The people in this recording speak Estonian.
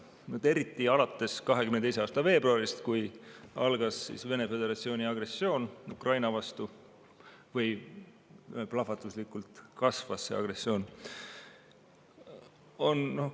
Eriti on see kasvanud alates 2022. aasta veebruarist, kui algas või õigemini plahvatuslikult kasvas Vene föderatsiooni agressioon Ukraina vastu.